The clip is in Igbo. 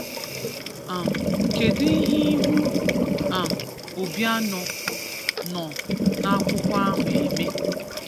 um Kedụ ihe ihu um Obiano nọ n'akwụkwọ ahụ eme?